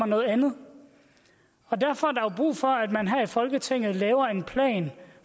noget andet og derfor er brug for at man her i folketinget laver en plan